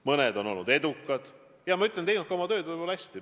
Mõned on olnud edukad ja teinud oma tööd hästi.